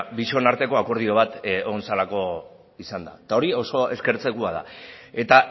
bion arteko akordio bat egon zelako izan da eta hori oso eskertzekoa da eta